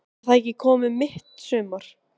En það er komið mitt sumar!